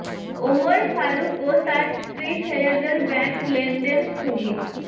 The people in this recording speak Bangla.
ওমর ফারুক ও তার স্ত্রী ছেলেদের ব্যাংক লেনদেন স্থগিত